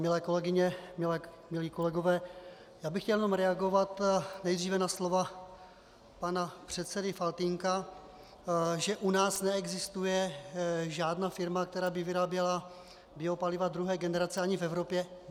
Milé kolegyně, milí kolegové, já bych chtěl jenom reagovat nejdříve na slova pana předsedy Faltýnka, že u nás neexistuje žádná firma, která by vyráběla biopaliva druhé generace, ani v Evropě.